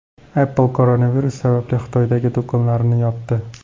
Apple koronavirus sababli Xitoydagi do‘konlarini yopdi.